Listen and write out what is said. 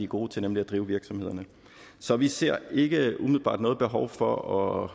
gode til nemlig at drive virksomhederne så vi ser ikke umiddelbart noget behov for at